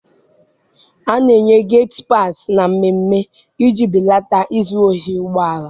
A na-enye geti paasị na mmemme iji belata izu ohi ụgbọala.